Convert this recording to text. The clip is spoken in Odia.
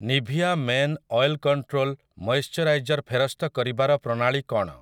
Nivea men oil control moisturiser ଫେରସ୍ତ କରିବାର ପ୍ରଣାଳୀ କ'ଣ?